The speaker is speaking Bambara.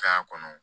K'a kɔnɔ